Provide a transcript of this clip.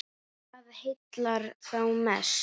Hvað heillar þá mest?